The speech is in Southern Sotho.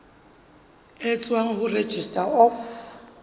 e tswang ho registrar of